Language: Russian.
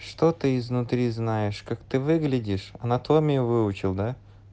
что ты изнутри знаешь как ты выглядишь анатомию выучил да